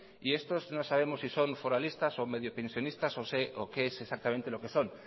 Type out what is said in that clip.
y estos no sabemos si son foralistas o medio pensionistas o qué es exactamente lo que son